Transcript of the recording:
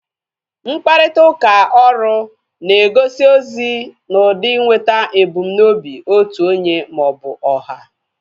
Mkparịta ụka ọrụ na egosi ozi na ụdị inweta ebumnobi otu onye maọbụ ọha